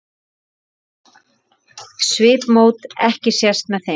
Svipmót ekki sést með þeim.